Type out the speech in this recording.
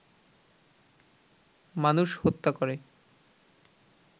মানুষ হত্যা করে